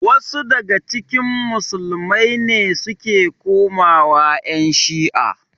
Wasu daga cikin musulmai ne suke komawa ƴan shi'a.